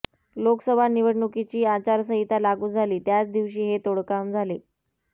लोकसभा निवडणुकीची आचारसंहिता लागू झाली त्याच दिवशी हे तोडकाम झाले